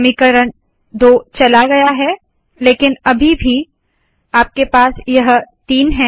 समीकरण 2 चला गया है लेकिन अभी भी आपके पास यह तीन है